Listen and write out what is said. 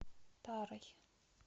тарой